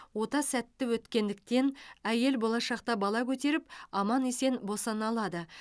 ота сәтті өткендіктен әйел болашақта бала көтеріп аман есен босана алады